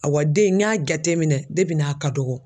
Ayiwa den in n y'a jateminɛ n'a ka dɔgɔn.